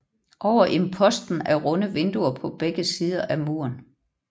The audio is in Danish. Over imposten er runde vinduer på begge sider af muren